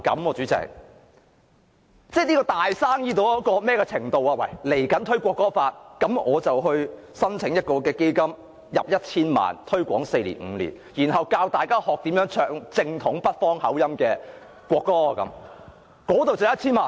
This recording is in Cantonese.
例如未來推廣《中華人民共和國國歌法》，我可否申請一個項目撥款 1,000 萬元，推廣四五年，教大家唱正統北方口音的國歌，這樣已可以申撥 1,000 萬元？